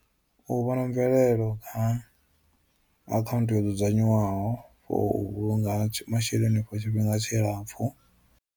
U vhona mvelelo kha akhaunthu yo dzudzanywaho for u vhulunga masheleni for tshifhinga tshilapfhu.